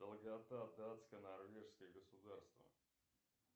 долгота датское норвежское государство